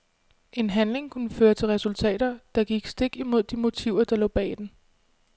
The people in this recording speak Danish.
En handling kunne føre til resultater, der gik stik imod de motiver der lå bag den.